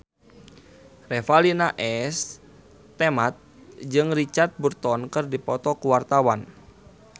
Revalina S. Temat jeung Richard Burton keur dipoto ku wartawan